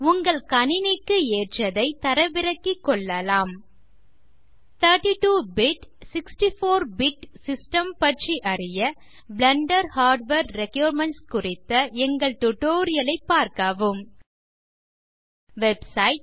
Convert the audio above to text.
உங்கள் கணினிக்கு ஏற்றதை தரவிறக்கிகொள்ளலாம் 32 பிட் 64 பிட் சிஸ்டம்ஸ் பற்றி அறிய பிளெண்டர் ஹார்ட்வேர் ரிக்வைர்மென்ட்ஸ் குறித்த எங்கள் டியூட்டோரியல் ஐ பார்க்கவும் வெப்சைட்